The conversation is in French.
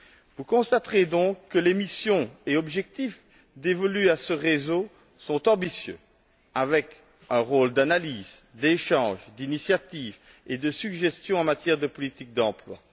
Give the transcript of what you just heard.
Vous constaterez donc que les missions et objectifs dévolus à ce réseau sont ambitieux avec un rôle d'analyse, d'échange, d'initiative et de suggestion en matière de politique d'emploi.